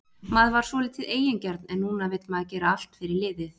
Maður var svolítið eigingjarn en núna vill maður gera allt fyrir liðið.